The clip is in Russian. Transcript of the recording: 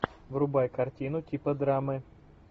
врубай картину типа драмы